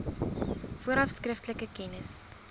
vooraf skriftelik kennis